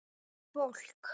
Mikið fólk.